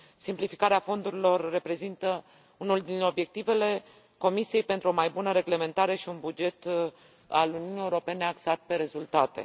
Simplificarea fondurilor reprezintă unul dintre obiectivele Comisiei pentru o mai bună reglementare și un buget al Uniunii Europene axat pe rezultate.